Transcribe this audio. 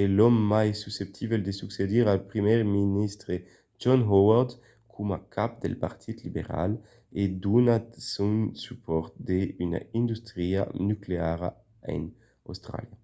e l'òme mai susceptible de succedir al primièr ministre john howard coma cap del partit liberal a donat son supòrt a una industria nucleara en austràlia